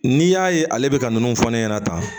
N'i y'a ye ale bɛ ka ninnu fɔ ne ɲɛna tan